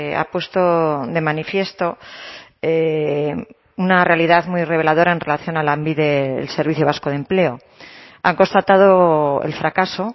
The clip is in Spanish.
ha puesto de manifiesto una realidad muy reveladora en relación a lanbide el servicio vasco de empleo han constatado el fracaso